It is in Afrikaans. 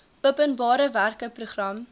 openbare werke program